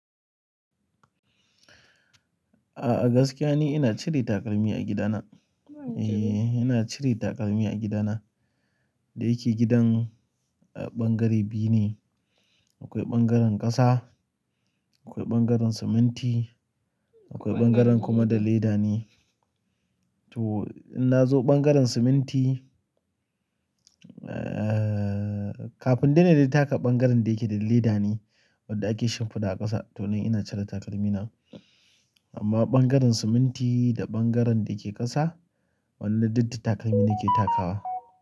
A gaskiya ni ina cire takalmi a gidana. E, ina cire takalmi a gidana. Da yake gidan bangare biyu ne, akwai bangaren ƙasa, akwai bangaren siminti, akwai bangaren kuma da leda ne. Ton in nazo ɓangaren siminti kafin dai na taka bangaren da yake da leda ne wanda ake shimfiɗa a ƙasa to nan ina cire takalmi na. Amma bangaren siminti da bangaren da yake ƙasa wannan duk da takalmi nake takawa.